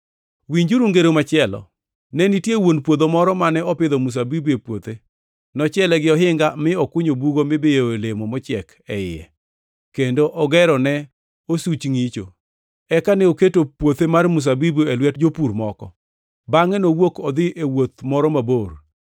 “Winjuru ngero machielo. Ne nitie wuon puodho moro mane opidho mzabibu e puothe. Nochiele gi ohinga, mi okunyo bugo mibiyoe olemo mochiek e iye, kendo ogero ne osuch ngʼicho. Eka ne oketo puothe mar mzabibuno e lwet jopur moko, bangʼe nowuok odhi e wuoth moro mabor.